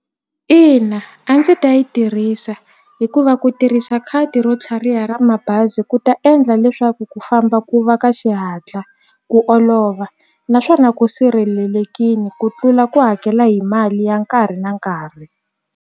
Ina a ndzi ta yi tirhisa hikuva ku tirhisa khadi ro tlhariha ra mabazi ku ta endla leswaku ku famba ku va ka xihatla ku olova naswona ku sirhelelekini ku tlula ku hakela hi mali ya nkarhi na nkarhi.